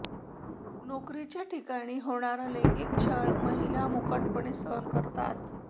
नोकरीच्या ठिकाणी होणारा लैंगिक छळ महिला मुकाटपणे सहन करतात